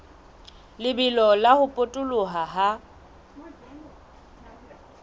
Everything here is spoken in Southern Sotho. lebelo la ho potoloha ha